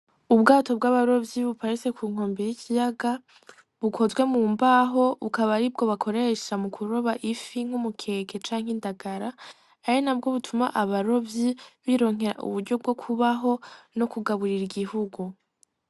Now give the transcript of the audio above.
Ubwato bw’abarovyi buparitse ku nkombe y’ikiyaga , bukozwe mu mbaho bukaba aribwo bakoresha mu kuroba ifi n’umukeke canke indagara , ari nabwo butuma abarovyi bironkera uburyo bwo kubaho no kugaburira igihugu.